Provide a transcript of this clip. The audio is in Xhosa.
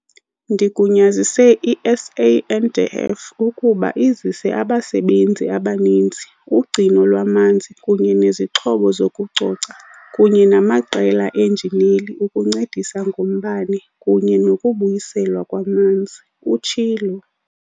"Ndigunyazise i-SANDF ukuba izise abasebenzi abaninzi, ugcino lwamanzi kunye nezixhobo zokucoca kunye namaqela eenjineli ukuncedisa ngombane kunye nokubuyiselwa kwamanzi," utshilo.